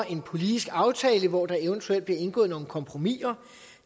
en politisk aftale hvor der eventuelt bliver indgået nogle kompromiser